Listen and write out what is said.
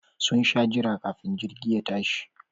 Sun sha jira kafin jirgi ya tashi